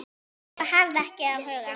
Og hafði ekki áhuga.